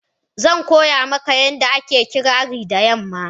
Zan koya maka yanda ake ƙirari da yamma.,